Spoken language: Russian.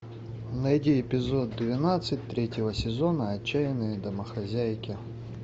найди эпизод двенадцать третьего сезона отчаянные домохозяйки